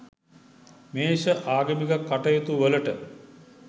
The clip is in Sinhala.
මේෂ ආගමික කටයුතුවලට